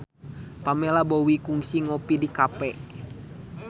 Pamela Bowie kungsi ngopi di cafe